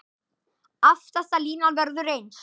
Aftasta línan verður eins.